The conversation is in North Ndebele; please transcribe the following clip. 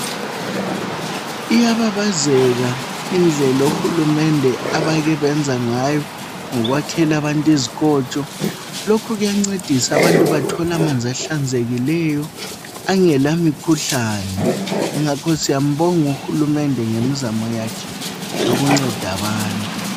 Iyababazeka indlela uhulumende abake yenza ngayo ngokhwakela abantu izikotsho lokho kuyancedisa abantu bathole amanzi ahlanzekileyo angela mikhuhlane ngakho siyambonga uhulumende ngemizamo yakhe yokunceda abantu.